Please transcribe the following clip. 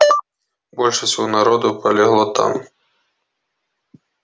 больше всего народу полегло там